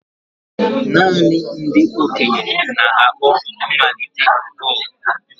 Naanị ndị okenye na-akpọ mmalite gong.